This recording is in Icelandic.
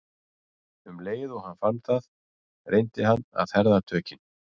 Um leið og hann fann það reyndi hann að herða tökin.